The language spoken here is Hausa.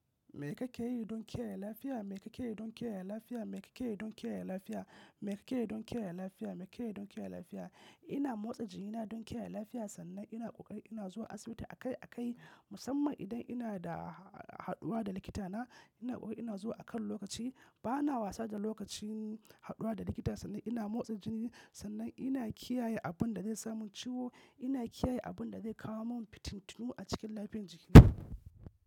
Me kake yi don kiyaye lafiya? Me kake yi don kiyaye lafiya? Me kake yi don kiyaye lafiya? Me kake yi don kiyaye lafiya? Me kake yi don kiyaye lafiya? Ina motsa jikina don kiyaye lafiya sannan ina ƙoƙari ina zuwa asibiti akai akai musamman idan ina da haɗuwa da likitana. Ina ƙoƙari ina zuwa a kan lokaci. Bana wasa da lokacin haɗuwa da likita sannan ina motsa jiki sannan ina kiyaye abun da zai samun ciwo. Ina kiyaye abun da zai kawo min fitintinu a cikin lafiyar jikina.